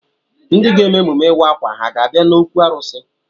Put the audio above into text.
Ndị ga-eme emume ịwa akwa ha ga-abịa n'okwu arụsị?